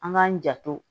An k'an janto